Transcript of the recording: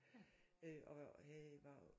Øh og og havde var